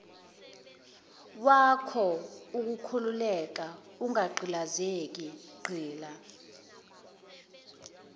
wakhoukhululeke ungagqilazeki gxila